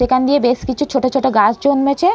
সেখান দিয়ে বেশ কিছু ছোট ছোট গাছ জন্মেছে।